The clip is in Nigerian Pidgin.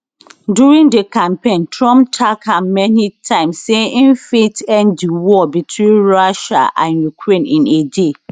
during di campaign trump tak am many times say im fit end di war between russia and ukraine in a day